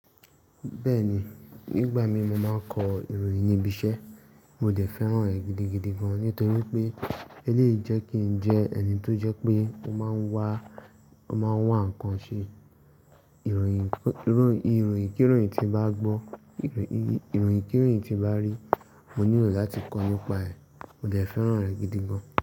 Bẹ́ẹ̀ni, nígbà mí mo máa ń kọ ìròyìn níbi iṣẹ́, mo dẹ̀ fẹ́ràn rẹ̀ gidigidi gan-an nítorí pé elèyi jẹ́ kí n jẹ́ ẹni tó jẹ́ pé ó máa ń wá, ó máa ń wá nǹkan ṣe. Ìru ìròyìn, kí ìròyìn tí mbá gbọ́, ìròyìn, kí ìròyìn tí mbá rí, mo nílò láti kọ nípa ẹ̀, mo dẹ̀ fẹ́ràn rẹ̀ gidi gan-an.